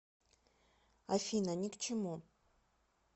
афина ни к чему